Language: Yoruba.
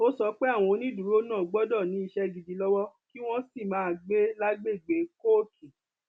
ó sọ pé àwọn onídùúró náà gbọdọ ní iṣẹ gidi lọwọ kí wọn sì máa gbé lágbègbè kóòtù